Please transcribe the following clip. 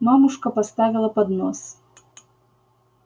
мамушка поставила поднос